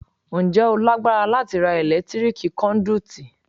Ǹjẹ́ o lágbára láti ra ẹ̀lẹ́tíríkì kọ́ndúítí?